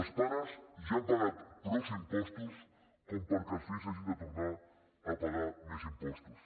els pares ja han pagat prou impostos perquè els fills hagin de tornar a pagar més impostos